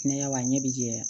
Hinɛ b'a ɲɛ bi jɛ